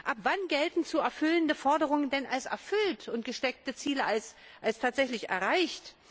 Ab wann gelten zu erfüllende Forderungen denn als erfüllt und gesteckte Ziele als tatsächlich erreicht?